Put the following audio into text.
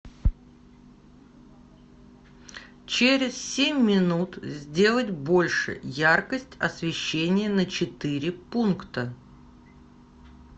через семь минут сделать больше яркость освещения на четыре пункта